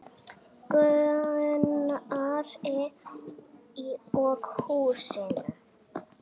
Gunnari og húsinu.